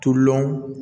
Tulolɔn